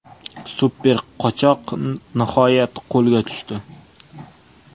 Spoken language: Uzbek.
Super qochoq nihoyat qo‘lga tushdi.